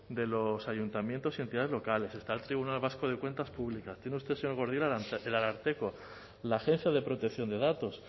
de los ayuntamientos y entidades locales está el tribunal vasco de cuentas públicas tiene usted señor gordillo el ararteko la agencia de protección de datos